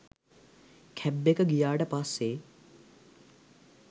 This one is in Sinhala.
කැබ් එක ගියාට පස්සේ